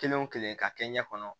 Kelen o kelen k'a kɛ ɲɛ kɔnɔ